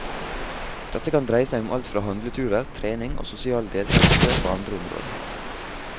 Dette kan dreie seg om alt fra handleturer, trening og sosial deltagelse på andre områder.